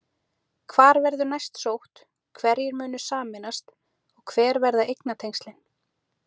Hvar verður næst sótt, hverjir munu sameinast og hver verða eignatengslin?